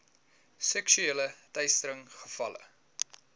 seksuele teistering gevalle